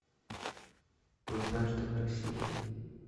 однажды в россии